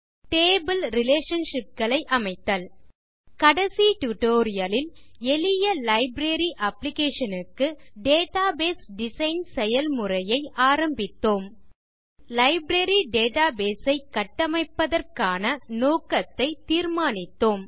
table relationship களை அமைத்தல் கடைசி டியூட்டோரியல் லில் எளிய லைப்ரரி அப்ளிகேஷன் க்கு டேட்டாபேஸ் டிசைன் செயல்முறையை ஆரம்பித்தோம் முதலில் லைப்ரரி டேட்டாபேஸ் ஐ கட்டமைப்பதற்கான நோக்கத்தை தீர்மானித்தோம்